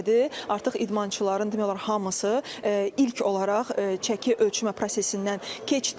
Artıq idmançıların demək olar hamısı ilk olaraq çəki ölçmə prosesindən keçdilər.